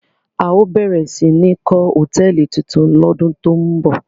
A óò bẹ̀rẹ̀ sí ní kọ́ hòtẹ́ẹ́lì tuntun lọ́dún tó ń bọ̀!